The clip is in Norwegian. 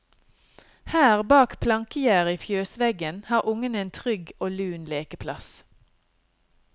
Her, bak plankegjerdet i fjøsveggen, har ungene en trygg og lun lekeplass.